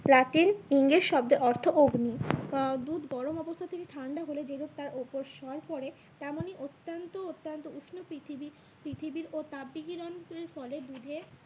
ইংরেজ শব্দে অর্থ অগ্নি আহ দুধ গরম অবস্থা থেকে ঠান্ডা হলে যেরূপ তার ওপর স্বর পরে তেমনি অত্যন্ত অত্যন্ত উষ্ণ পৃথিবীর, পৃথিবীর ও তাপ বিকিরণের ফলে দুধে